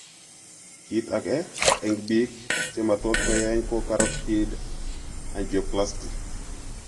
Kiit ake eng' biik chematot keyeny ko carotid angioplasty